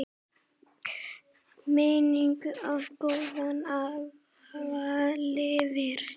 Minning um góðan afa lifir.